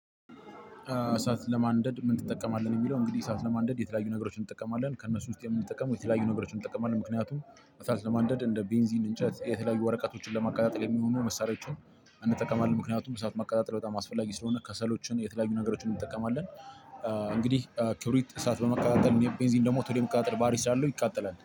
እሳት ለማንደድ ምን ትጠቀማለህ ነው? የሚለው እንግዲህ እሳት ለማንደድ የተለያዩ ነገሮችን እንጠቀማለን ከእነሱ ውስጥ የምንጠቀመው የተለያዩ ነገሮችን እንጠቀማለን ምክንያቱም ለማንደድ እንደ ቤንዚን እንጨት የተለያዩ ወረቀቶችን ለማቀጣጠል የሚመሆኑ መሳሪያዎችን እንጠቀማለን ምክንያቱም እሳት ማቀጣጠል በጣም አስፈላጊ ስለሆነ ከሰሎችን የተለያዩ ነገሮችን እንጠቀማለን። እ እንግዲህ እ ክብሪት እሳት በማቀጣጠል ቤንዚን ደግሞ ቶሎ የመቀጣጠል ባህሪ ስላለው ይቃጠላል